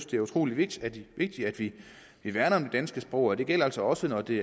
det er utrolig vigtigt vigtigt at vi værner om det danske sprog og det gælder altså også når det